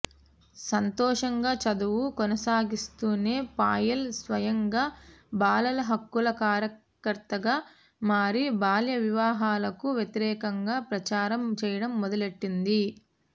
సంతోషంగా చదువు కొనసాగిస్తూనే పాయల్ స్వయంగా బాలల హక్కుల కార్యకర్తగా మారి బాల్యవివాహాలకు వ్యతిరేకంగా ప్రచారం చేయడం మొదలెట్టింది